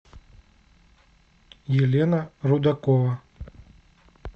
елена рудакова